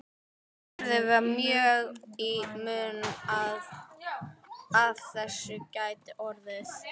Gerði var mjög í mun að af þessu gæti orðið.